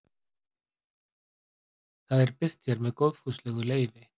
Það er birt hér með góðfúslegu leyfi.